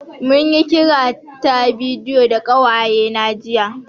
Mun yi kira ta bidiyo da ƙawaye na jiya